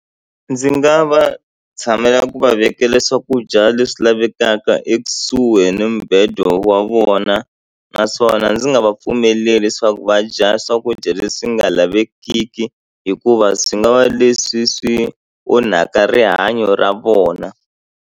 Ndzi nga va tshamela ku va vekela swakudya leswi lavekaka ekusuhi ni mubedo wa vona naswona ndzi nga va pfumeleli leswaku va dya swakudya leswi nga lavekiki hikuva swi nga va leswi swi onhaka rihanyo ra vona.